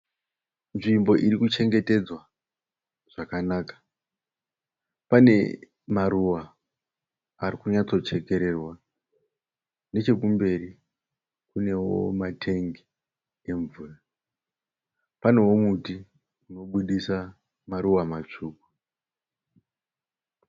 Nzvimbo iri kuchengetedza zvakanaka. Pane maruva ari kunyatsochekererwa. Nechekumberi kunewo matengi emvura. Panewo muti unoburitsa maruva matsvuku.